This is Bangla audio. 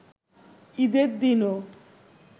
ঈদের দিনও